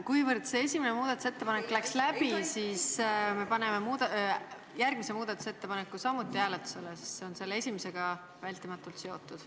Kuivõrd esimene muudatusettepanek läks läbi, siis me paneme hääletusele ka järgmise muudatusettepaneku, sest see on esimesega vältimatult seotud.